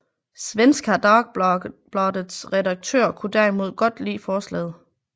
Svenska Dagbladets redaktør kunne derimod godt lide forslaget